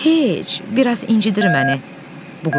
Heç, biraz incidir məni bu qürbət.